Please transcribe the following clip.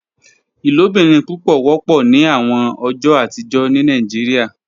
Ilobirin pupọ wọpọ ni awọn ọjọ atijọ ni Nigeria